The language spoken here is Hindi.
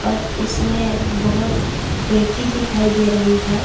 और इसमें बहोत पेटी दिखाई दे रही है।